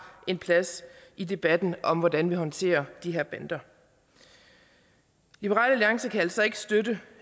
en plads i debatten om hvordan vi håndterer de her bander liberal alliance kan altså ikke støtte